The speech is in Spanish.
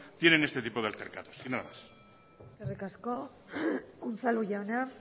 tienen este tipo de altercados y nada más eskerrik asko unzalu jauna